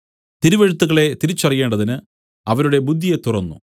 തിരുവെഴുത്തുകളെ തിരിച്ചറിയേണ്ടതിന് അവരുടെ ബുദ്ധിയെ തുറന്നു